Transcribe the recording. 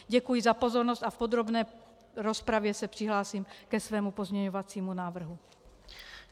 Děkuji za pozornost a v podrobné rozpravě se přihlásím ke svému pozměňovacímu návrhu.